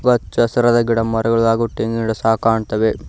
ಹಚ್ಚ ಹಸಿರಾದ ಗಿಡಮರಗಳು ಹಾಗು ತೆಂಗಿನ ಗಿಡಗಳು ಸಹ ಕಾಣ್ತಾವೆ.